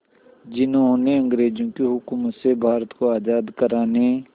जिन्होंने अंग्रेज़ों की हुकूमत से भारत को आज़ाद कराने